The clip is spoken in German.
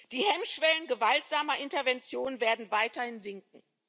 Die Hemmschwellen gewaltsamer Intervention werden weiterhin sinken.